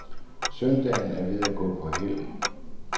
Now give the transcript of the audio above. Søndagen er ved at gå på hæld.